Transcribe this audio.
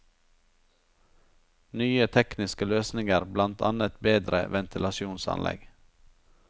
Nye tekniske løsninger, blant annet bedre ventilasjonsanlegg.